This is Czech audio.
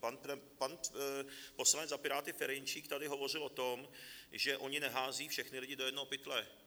Pan poslanec za Piráty Ferjenčík tady hovořil o tom, že oni neházejí všechny lidi do jednoho pytle.